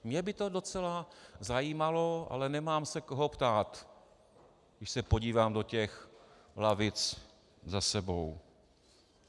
Mě by to docela zajímalo, ale nemám se koho ptát, když se podívám do těch lavic za sebou.